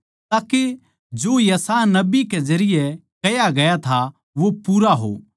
ताके जो यशायाह नबी कै जरिये कह्या गया था वो पूरा हो